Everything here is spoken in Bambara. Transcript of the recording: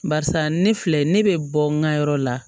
Barisa ne filɛ ne bɛ bɔ n ka yɔrɔ la